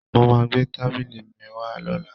Mo máa gbé tábìlì mi wá lọ́la